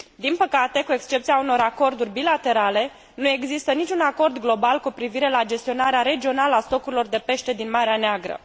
Din păcate, cu excepția unor acorduri bilaterale, nu există niciun acord global cu privire la gestionarea regională a stocurilor de pește din Marea Neagră.